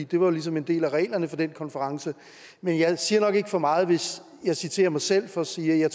det var ligesom en del af reglerne for den konference men jeg siger nok ikke for meget hvis jeg citerer mig selv for at sige at jeg